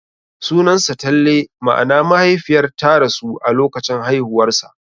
Sunansa Talle, ma'ana mahaifiyar ta rasu a lokacin haihuwarsa.